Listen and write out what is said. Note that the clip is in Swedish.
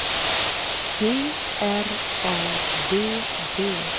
G R A B B